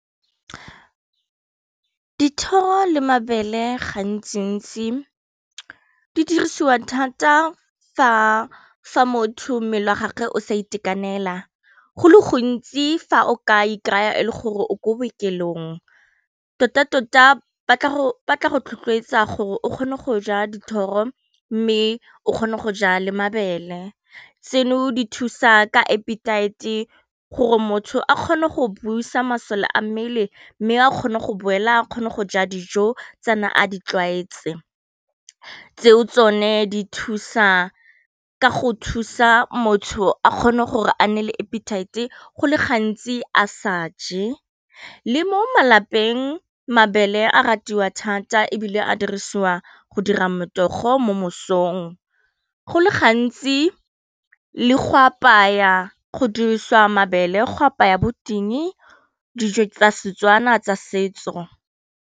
Dithoro le mabele gantsi-ntsi di dirisiwa thata fa motho mmele wa gage o sa itekanela go le gontsi fa o ka ikry-a o le gore o ko bookelong tota-tota batla go rotloetsa gore o kgone go ja dithoro mme o kgone go ja le mabele, tseno di thusa ka appitite gore motho a kgone go busa masole a mmele mme a kgone go boela a kgone go ja dijo tsene a di tlwaetse, tseo tsone di thusa ka go thusa motho a kgone gore a nne le appitite go le gantsi a sa je, le mo malapeng mabele a ratiwa thata e bile a dirisiwa go dira motogo mo mosong, go le gantsi le go apaya go dirisiwa mabele go apaya bo ting dijo tsa Setswana tsa setso.